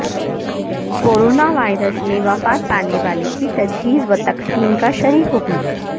coronavirus میں وفات پانے والے کی تجہیز وتکفین کاشرعی حکم